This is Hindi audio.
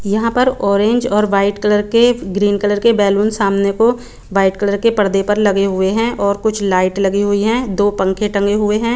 यहाँ पर ओरेंज और व्हाईट कलर के ग्रीन कलर के बैलून सामने को व्हाईट कलर के परदे पर लगे हुए हैं और कुछ लाइट लगी हुई है दो पंखे टंगे हुए हैं।